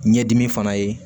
Ɲɛdimi fana ye